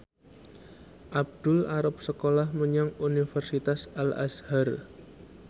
Abdul arep sekolah menyang Universitas Al Azhar